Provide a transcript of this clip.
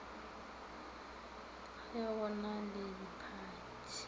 ge go na le diphathi